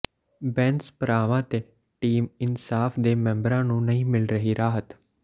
ਬੈਂਸ ਭਰਾਵਾਂ ਤੇ ਟੀਮ ਇਨਸਾਫ਼ ਦੇ ਮੈਂਬਰਾਂ ਨੂੰ ਨਹੀਂ ਮਿਲ ਰਹੀ ਰਾਹਤ